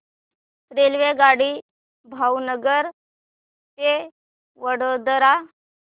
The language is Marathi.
रेल्वेगाडी भावनगर ते वडोदरा